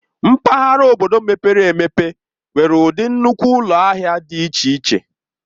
Mpaghara obodo mepere emepe nwere ụdị nnukwu ụlọ ahịa dị iche iche.